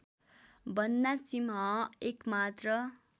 बन्ना सिंह एकमात्र